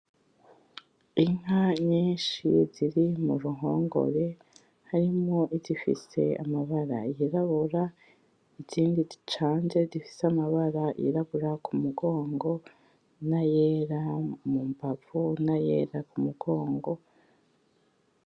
Inka nyinshi ziri muruhongore, harimwo izifise amabara yirabura izindi zicanze zifise amabara yirabura k umugongo na yera mumbavu nayera kumugongo